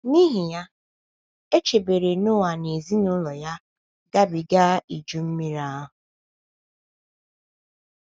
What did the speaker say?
N’ihi ya, e chebere Noa na ezinụlọ ya gabiga Iju Mmiri ahụ.